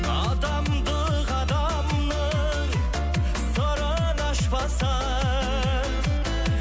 адамдық адамның сырын ашпаса